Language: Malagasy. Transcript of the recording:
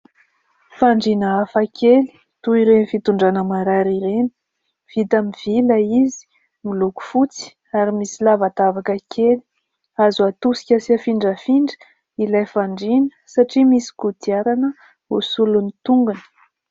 Fandriana hafakely toa ireny fitondrana marary ireny. Vita amin'ny vy ilay izy, miloko fotsy, ary misy lavadavaka kely. Azo atosika sy afindrafindra ilay fandriana, satria misy kodiarana ho solon'ny tongony.